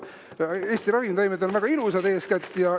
Eesti ravimtaimed on väga ilusad eeskätt.